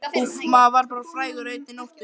Úff, maður varð bara frægur á einni nóttu.